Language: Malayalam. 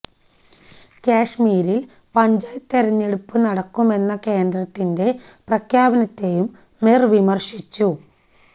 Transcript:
കാശ്മീരില് പഞ്ചായത്ത് തിരഞ്ഞെടുപ്പ് നടത്തുമെന്ന കേന്ദ്രത്തിന്റെ പ്രഖ്യാനത്തേയും മിര് വിമര്ശിച്ചു